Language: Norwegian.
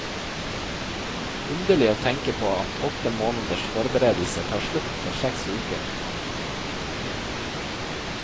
Underlig å tenke på at åtte måneders forberedelser tar slutt etter seks uker.